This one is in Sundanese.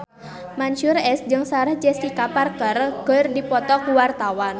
Mansyur S jeung Sarah Jessica Parker keur dipoto ku wartawan